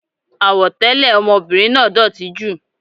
Àwọ̀ tẹlẹ ọmọbìnrin náà dótì jù.